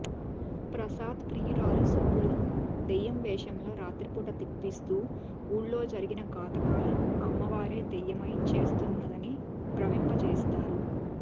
ప్రసాద్ ప్రియురాలు సుబ్బులును దెయ్యం వేషంలో రాత్రిపూట తిప్పిస్తూ వూళ్లో జరిగిన ఘాతుకాలను అమ్మవారే దెయ్యమై చేస్తున్నదని భ్రమింపజేస్తారు